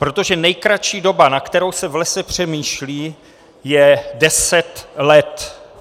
Protože nejkratší doba, na kterou se v lese přemýšlí, je deset let.